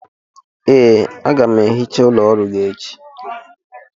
Ee, a ga m ehicha ụlọ ọrụ gị echi